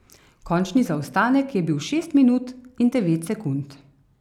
Končni zaostanek je bil šest minut in devet sekund.